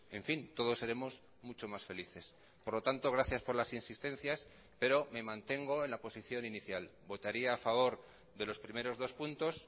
en fin todos seremos mucho más felices por lo tanto gracias por las insistencias pero me mantengo en la posición inicial votaría a favor de los primeros dos puntos